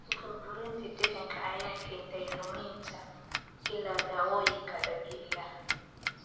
Burburinta deegaanka ayaa keentay luminta ilaha dawooyinka dabiiciga ah.